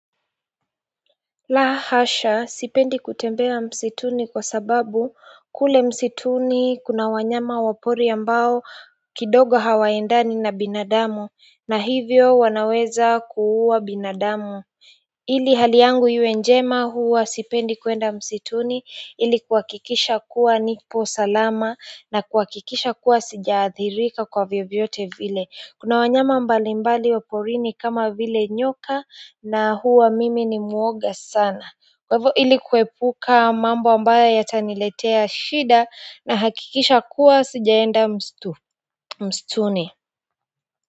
La hasha sipendi kutembea msituni kwa sababu kule msituni kuna wanyama wa pori ambao kidogo hawaendani na binadamu na hivyo wanaweza kuuwa binadamu ili hali yangu iwe njema huwa sipendi kwenda msituni ili kuhakikisha kuwa nipo salama na kuhakikisha kuwa sija adhirika kwa vyovyote vile kuna wanyama mbali mbali wa porini kama vile nyoka na huwa mimi ni muoga sana kwa hivyo ili kuepuka mambo ambayo yataniletea shida na hakikisha kuwa sijaenda msituni.